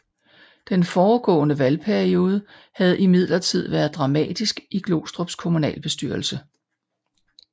Den foregående valgperiode havde imidlertid været dramatisk i Glostrups kommunalbestyrelse